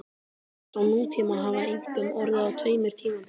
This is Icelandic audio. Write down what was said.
Eldgos á nútíma hafa einkum orðið á tveimur tímabilum.